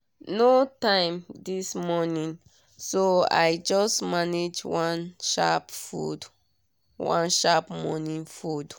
no time this morning so i just manage one sharp morning food.